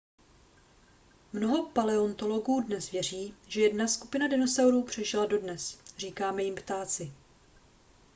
mnoho paleontologů dnes věří že jedna skupina dinosaurů přežila dodnes říkáme jim ptáci